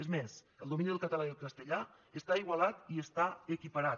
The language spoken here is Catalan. és més el domini del català i el castellà està igualat i està equiparat